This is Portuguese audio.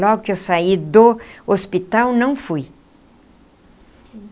Logo que eu saí do hospital, não fui.